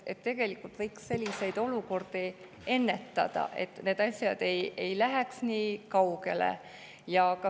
Tegelikult võiks selliseid olukordi ennetada, et need asjad ei läheks nii kaugele.